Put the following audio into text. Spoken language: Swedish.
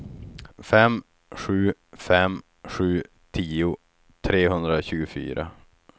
fem sju fem sju tio trehundratjugofyra